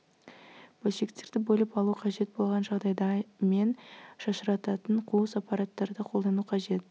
бөлшектерді бөліп алу қажет болған жағдайда мен шашырататын қуыс аппараттарды қолдану қажет